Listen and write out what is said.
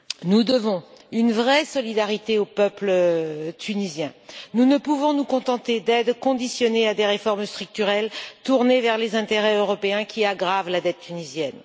Nous devons une vraie solidarité au peuple tunisien, nous ne pouvons nous contenter d'aides conditionnées à des réformes structurelles, tournées vers les intérêts européens, qui aggravent la dette tunisienne.